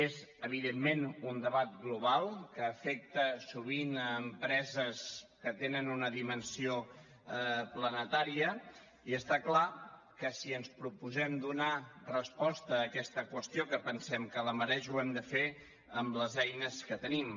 és evidentment un debat global que afecta sovint empreses que tenen una dimensió planetària i està clar que si ens proposem donar resposta a aquesta qüestió que pensem que la mereix ho hem de fer amb les eines que tenim